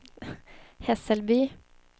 Hässelby